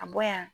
A bɔ yan